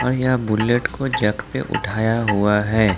यहां बुलेट को जक पे उठाया हुआ है।